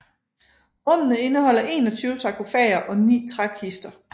Rummene indeholder 21 sarkofager og ni trækister